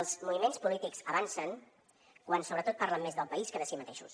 els moviments polítics avancen quan sobretot parlen més del país que de si mateixos